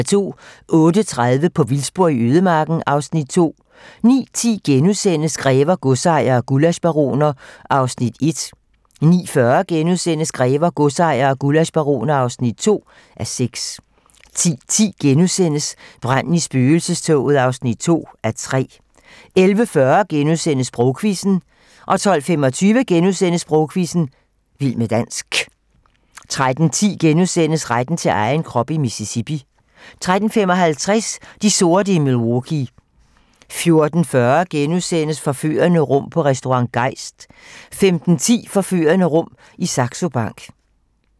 08:30: På vildspor i ødemarken (Afs. 2) 09:10: Grever, godsejere og gullaschbaroner (1:6)* 09:40: Grever, godsejere og gullaschbaroner (2:6)* 10:10: Branden i spøgelsestoget (2:3)* 11:40: Sprogquizzen * 12:25: Sprogquizzen - vild med dansk * 13:10: Retten til egen krop i Mississippi * 13:55: De sorte i Milwaukee 14:40: Forførende rum på Restaurant Geist * 15:10: Forførende rum i Saxo Bank